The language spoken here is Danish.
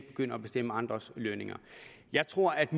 begynde at bestemme andres lønninger jeg tror at